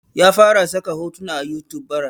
Ya fara saka hotuna a youtube bara